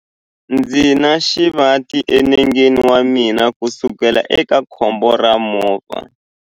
Ndzi na xivati enengeni wa mina kusukela eka khombo ra movha.